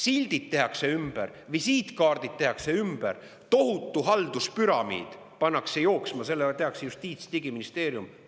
Sildid tehakse ümber, visiitkaardid tehakse ümber ja tohutu halduspüramiid pannakse käima selleks, et teha Justiits- ja Digiministeerium.